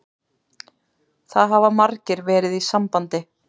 Það hafa margir verið í sambandi